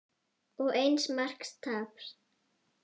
Og eins marks tap.